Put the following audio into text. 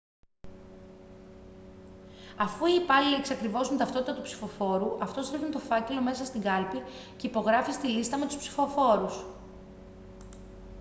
αφού οι υπάλληλοι εξακριβώσουν την ταυτότητα του ψηφοφόρου αυτός ρίχνει τον φάκελο μέσα στην κάλπη και υπογράφει στη λίστα με τους ψηφοφόρους